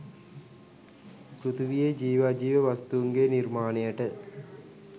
පෘථිවියේ ජීව අජීව වස්තූන්ගේ නිර්මාණයට